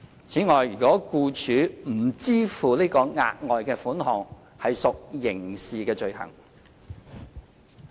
此外，僱主如不支付該筆額外款項屬刑事罪行。